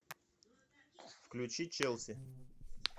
включи челси